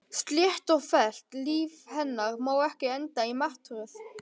Slétt og fellt líf hennar má ekki enda í martröð.